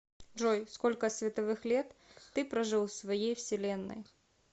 джой сколько световых лет ты прожил в своей вселенной